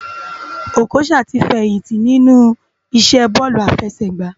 Okocha ti fèyinti ninú isé bòlú áfèsègbá